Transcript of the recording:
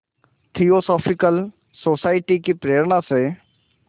theosophical society की प्रेरणा से